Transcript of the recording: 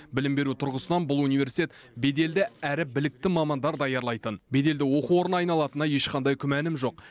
білім беру тұрғысынан бұл университет беделді әрі білікті мамандар даярлайтын беделді оқу орнына айналатынына ешқандай күмәнім жоқ